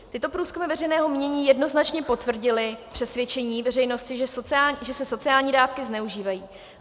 Tyto průzkumy veřejného mínění jednoznačně potvrdily přesvědčení veřejnosti, že se sociální dávky zneužívají.